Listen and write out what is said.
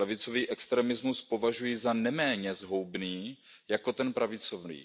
Levicový extremismus považuji za neméně zhoubný jako ten pravicový.